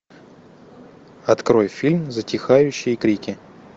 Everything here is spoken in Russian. открой фильм затихающие крики